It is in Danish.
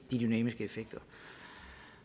de dynamiske effekter